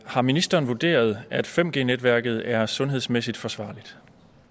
har ministeren vurderet at 5g netværket er sundhedsmæssigt forsvarligt